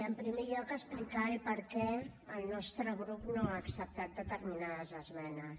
en primer lloc explicar el perquè el nostre grup no ha acceptat determinades esmenes